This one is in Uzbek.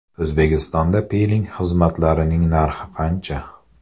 O‘zbekistonda piling xizmatlarining narxi qancha?